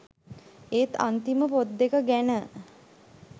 ඒත් අන්තිම පොත් දෙක ගැන